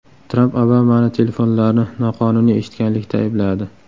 Tramp Obamani telefonlarni noqonuniy eshitganlikda aybladi.